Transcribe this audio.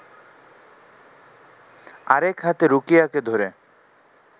আর এক হাতে রুকিয়াকে ধরে